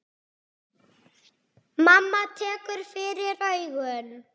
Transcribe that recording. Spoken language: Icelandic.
Mamma tekur fyrir augun.